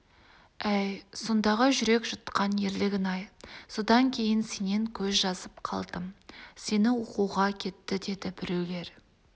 әй сондағы жүрек жұтқан ерлігің-ай содан кейін сенен көз жазып қалдым сені оқуға кетті деді біреулер